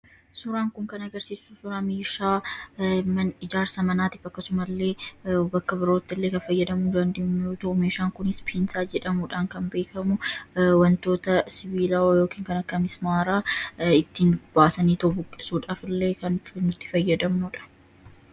Suuraan kun kan inni agarsiisu suuraa meeshaa ijaarsa manaatiif akkasumas illee bakka birootti kan fayyadamuu dandeenyudha. Meeshaan kunis "Piinsaa" jedhamuudhaan kan beekamudha. sibiilota sasalphoo adda addaa ittiin kutuu fi jabeessuuf dhimma itti baana.